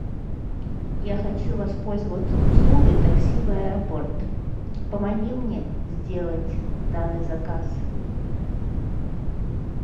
я хочу воспользоваться услугой такси в аэропорт помоги мне сделать данный заказ